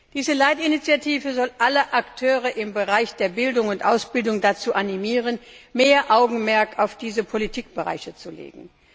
Diese Leitinitiative soll alle Akteure im Bereich der Bildung und Ausbildung dazu animieren, mehr Augenmerk auf diese Politikbereiche zu legen.